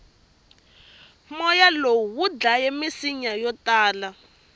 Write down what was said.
moya lowu wudlaye misinya yotala